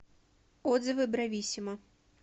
отзывы брависсимо